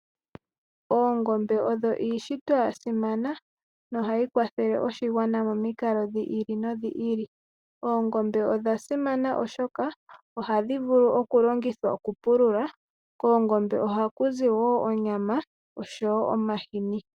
Oongombe odho iishitwa yasimana no hayi kwathele oshingwana momikalo dhiili no dhiili, oongombe odha simana oshoka oha dhivulu oku longithwa oku pulula, koongombe oha kuzi wo onyama osho wo omahini.